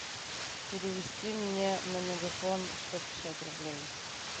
перевести мне на мегафон сто пятьдесят рублей